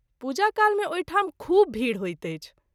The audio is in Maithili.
पूजा काल मे ओहि ठाम खूब भीड़ होइत अछि।